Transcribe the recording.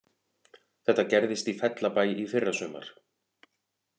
Þetta gerðist í Fellabæ í fyrrasumar